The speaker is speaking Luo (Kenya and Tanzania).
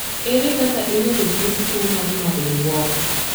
Ere kaka inyalo thiedh tuwo mar Marden Walker?